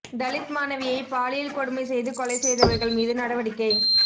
தலித் மாணவியை பாலியல் கொடுமை செய்து கொலை செய்தவா்கள் மீது நடவடிக்கை